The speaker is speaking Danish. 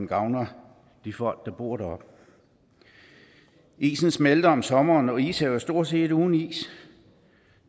gavner de folk der bor deroppe isen smelter om sommeren og ishavet er stort set uden is